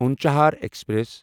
Unchahar express